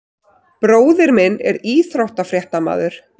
Bróðir minn er íþróttafréttamaður.